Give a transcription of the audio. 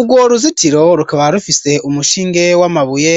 Urwo ruzitiro rukaba rufise umushinge wamabuye